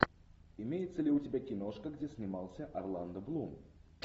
имеется ли у тебя киношка где снимался орландо блум